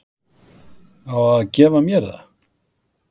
Á að gefa mér það!